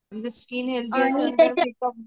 skin healthy असेल तर